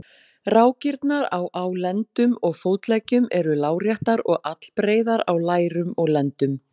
Rákirnar á á lendum og fótleggjum eru láréttar og allbreiðar á lærum og lendum.